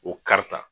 O karita